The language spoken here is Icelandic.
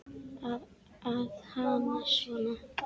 Að hamast svona.